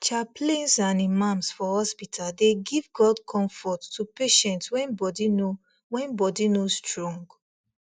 chaplains and imams for hospital dey give god comfort to patients when body no when body no strong